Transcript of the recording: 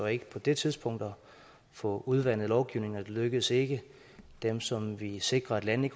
ikke på det tidspunkt at få udvandet lovgivningen og det lykkedes ikke dem som ville sikre at landene